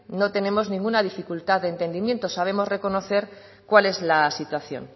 no tenemos ninguna dificultad de entendimientos sabemos reconocer cuál es la situación